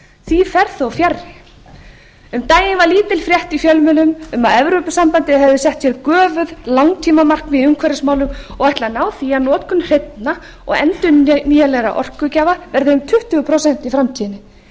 því fer þó fjarri um daginn var lítil frétt í fjölmiðlum um að evrópusambandið hefði sett sér göfugt langtímamarkmið í umhverfismálum og ætlaði að ná því að notkun hreinna og endurnýjanlegra orkugjafa yrði um tuttugu prósent í framtíðinni athugið